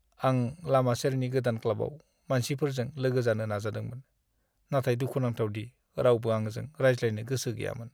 आं लामा सेरनि गोदान क्लाबाव मानसिफोरजों लोगो जानो नाजादोंमोन, नाथाय दुखुनांथाव दि रावबो आंजों रायज्लायनो गोसो गैयामोन!